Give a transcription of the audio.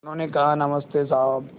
उन्होंने कहा नमस्ते साहब